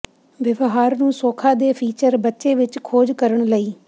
ਵਿਵਹਾਰ ਨੂੰ ਸੌਖਾ ਦੇ ਫੀਚਰ ਬੱਚੇ ਵਿੱਚ ਖੋਜ ਕਰਨ ਲਈ